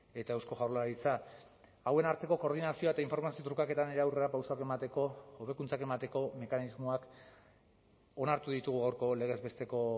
eta eusko jaurlaritza hauen arteko koordinazioa eta informazio trukaketa nire aurrerapausoak emateko hobekuntzak emateko mekanismoak onartu ditugu gaurko legez besteko